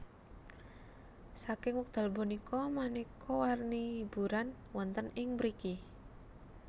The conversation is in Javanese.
Saking wekdal punika manéka warni hiburan wonten ing mriki